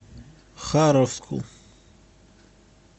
харовску